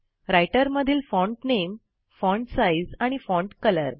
writer मधील font नामे font size आणि फॉन्ट कलर